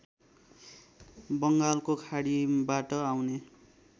बङ्गालको खाडीबाट आउने